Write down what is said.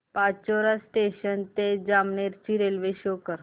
Pachora junction ते जामनेर ची railway show कर